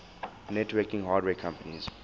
networking hardware companies